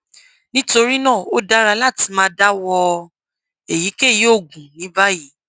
nitorina o dara lati ma dawọ eyikeyi oogun ni bayi